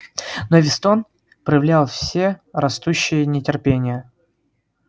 но вестон проявлял все растущее нетерпение